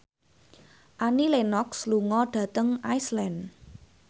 Annie Lenox lunga dhateng Iceland